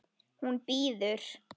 Hún bíður!